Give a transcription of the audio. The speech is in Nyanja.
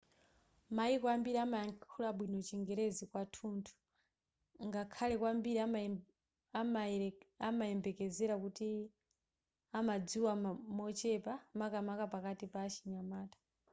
mayiko ambiri amalankhula bwino chingerezi kwathunthu ngakhale kwambiri umayembekezera kuti amadziwa mochepa makamaka pakati pa achinyamata